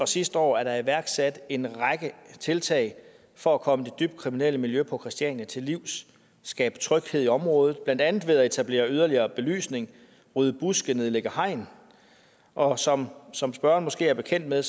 sidste år er der iværksat en række tiltag for at komme det dybt kriminelle miljø på christiania til livs skabe tryghed i området blandt andet ved at etablere yderligere belysning rydde buske nedlægge hegn og som som spørgeren måske er bekendt med